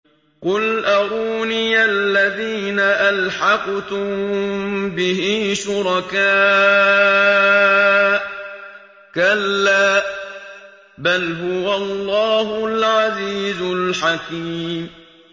قُلْ أَرُونِيَ الَّذِينَ أَلْحَقْتُم بِهِ شُرَكَاءَ ۖ كَلَّا ۚ بَلْ هُوَ اللَّهُ الْعَزِيزُ الْحَكِيمُ